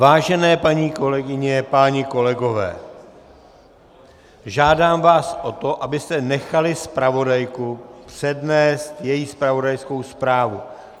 Vážené paní kolegyně, páni kolegové, žádám vás o to, abyste nechali zpravodajku přednést její zpravodajskou zprávu.